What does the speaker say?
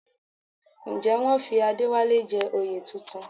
Ǹjẹ́ wọ́n fi Adéwálé jẹ oyè tuntun?